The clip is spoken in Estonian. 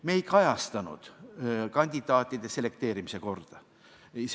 Me ei kajastanud kandidaatide selekteerimise korda.